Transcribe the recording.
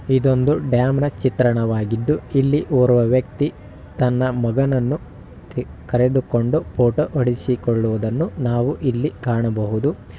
ಇದೊಂದು ಡ್ಯಾಮನ ಚಿತ್ರಣವಾಗಿದ್ದು ಇಲ್ಲಿ ಓರ್ವ ವ್ಯಕ್ತಿ ತನ್ನ ಮಗನನ್ನು ಕರೆದುಕೊಂಡು ಫೋಟೋ ಹೊಡೆಸಿಕೊಳ್ಳುವುದನ್ನು ನಾವು ಇಲ್ಲಿ ಕಾಣಬಹುದು.